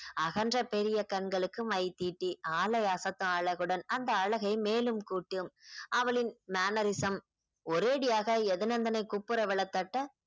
அகன்ற பெரிய கண்களுக்கு மை தீட்டி ஆளை அசத்தும் அழகுடன் அந்த அழகை மேலும் கூட்டும் அவளின் mannerism ஒரேடியாக எதுநந்தனை